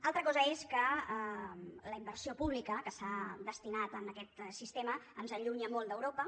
altra cosa és que la inversió pública que s’ha destinat a aquest sistema ens allunya molt d’europa